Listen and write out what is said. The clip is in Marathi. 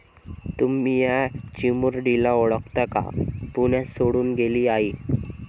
तुम्ही या चिमुरडीला ओळखता का?, पुण्यात सोडून गेली आई